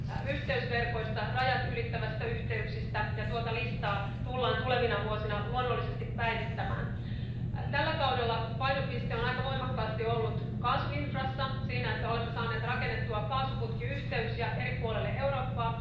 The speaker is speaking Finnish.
yhteysverkoista, rajatylittävistä yhteyksistä, ja tuota listaa tullaan tulevina vuosina luonnollisesti päivittämään. Tällä kaudella painopiste on aika voimakkaasti ollut kaasuinfrastruktuurissa eli siinä, että olemme saaneet rakennettua kaasuputkiyhteyksiä eri puolille Eurooppaa.